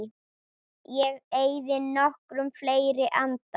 Ég eyði nokkrum fleiri andar